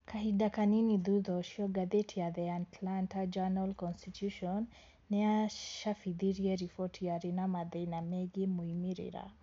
Kahinda kanini thutha ũcio, ngathĩti ya The Atlanta Journal-Constitution nĩ yacabithirie riboti yarĩ na mathĩna megiĩ moimĩrĩra